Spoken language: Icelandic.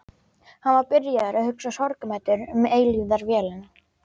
Hann var byrjaður að hugsa sorgmæddur um eilífðarvélina.